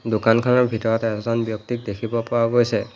দোকানখনৰ ভিতৰত এজন ব্যক্তিক দেখিব পোৱা গৈছে।